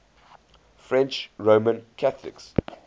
french roman catholics